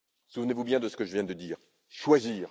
Souvenez vous bien de ce que je viens de dire choisir.